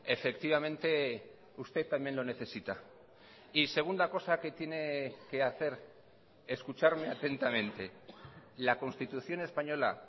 efectivamente usted también lo necesita y segunda cosa que tiene que hacer escucharme atentamente la constitución española